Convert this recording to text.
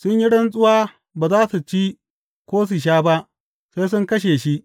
Sun yi rantsuwa ba za su ci ko sha ba sai sun kashe shi.